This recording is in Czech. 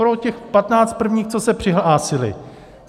Pro těch patnáct prvních, co se přihlásili.